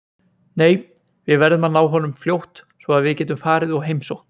Nei, við verðum að ná honum fljótt svo að við getum farið og heimsótt